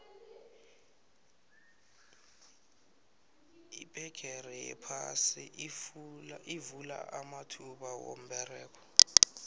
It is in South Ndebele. ibhegere yaphasi ivula amathuba womberego